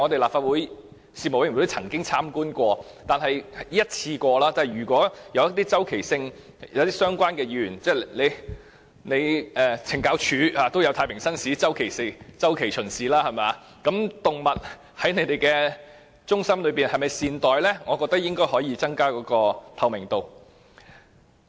立法會的事務委員會曾經參觀過一次，即使懲教署也有太平紳士作周期性巡視，所以如果可以周期性地讓議員巡視動物在領養中心內有否被善待，我覺得應該有助增加透明度。